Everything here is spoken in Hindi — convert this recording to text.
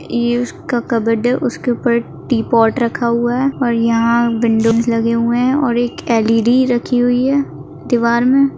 ये उसका कबबोर्ड है उसके ऊपर टी पॉट रखा हुआ है और यहा विंडोज लगे है और एक एल_इ_डी रखी हुई है दीवार मे।